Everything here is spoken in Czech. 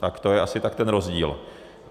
Tak to je asi tak ten rozdíl.